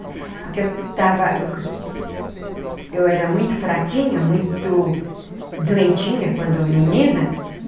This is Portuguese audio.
Porque eu estava... Eu era muito fraquinha, muito doentinha quando menina.